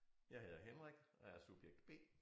Jeg hedder Henrik og er subjekt B